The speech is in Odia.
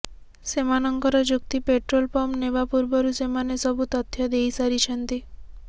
ସେମାନଙ୍କର ଯୁକ୍ତି ପେଟ୍ରୋଲ ପମ୍ପ ନେବା ପୂର୍ବରୁ ସେମାନେ ସବୁ ତଥ୍ୟ ଦେଇସାରିଛନ୍ତି